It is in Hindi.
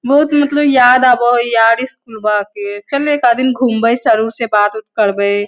बहुत मतलब याद आब हो यार स्कूलवा के। चल एकाद दिन घूमवई सर उर से बात उत करवई।